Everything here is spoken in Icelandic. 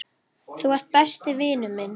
Þú varst besti vinur minn.